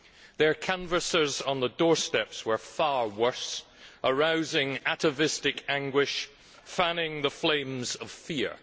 Their canvassers on the doorsteps were far worse, arousing atavistic anguish and fanning the flames of fear.